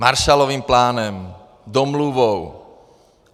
Marshallovým plánem, domluvou.